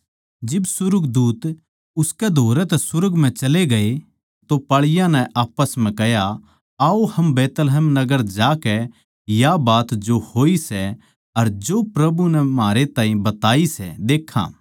जिब सुर्गदूत उसकै धोरै तै सुर्ग म्ह चले गए तो पाळीयाँ नै आप्पस म्ह कह्या आओ हम बैतलहम नगर जाकै देक्खां या बात जो होई सै अर जो प्रभु नै म्हारै ताहीं बताई सै